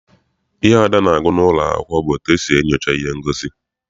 Ihe Ada na-agụ n'ụlọ akwụkwọ bụ etu esi enyocha ihe ngosi.